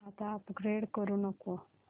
आता अपग्रेड करू नको